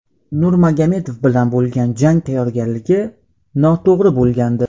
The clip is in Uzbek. Nurmagomedov bilan bo‘lgan jang tayyorgarligi noto‘g‘ri bo‘lgandi.